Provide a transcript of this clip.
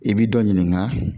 I bi dɔ ɲininka